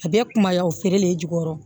A bɛɛ kumaya o feere l'i jukɔrɔ